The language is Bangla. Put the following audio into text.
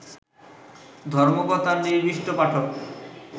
ধর্মকথার নিবিষ্ট পাঠক